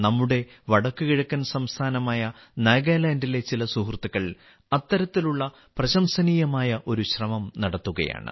നമ്മുടെ വടക്കുകിഴക്കൻ സംസ്ഥാനമായ നാഗാലാൻഡിലെ ചില സുഹൃത്തുക്കൾ അത്തരത്തിലുള്ള പ്രശംസനീയമായ ഒരു ശ്രമം നടത്തുകയാണ്